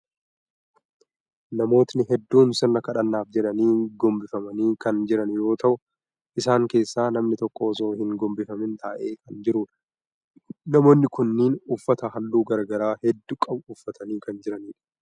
Namootni hedduun sirna kadhannaaf jedhanii gombifamanii kan jiran yoo ta'u, isaan keessaa namni tokko osoo hin gombifamin taa'ee kan jiruudha. Namootni kunnen uffata halluu garagaraa hedduu qabu uffatanii kan jiraniidha.